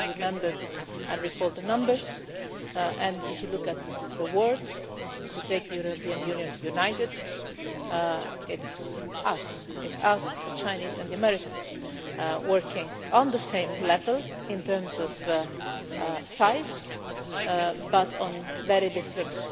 You all remembered and recalled the numbers, and if you look at the word, if you take the European Union united, it is us, it is us, the Chinese and the Americans working on the same level in terms of size, but on very different